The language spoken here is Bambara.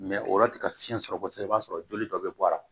o yɔrɔ tɛ ka fiɲɛ sɔrɔ kosɛbɛ i b'a sɔrɔ joli dɔ bɛ bɔ a la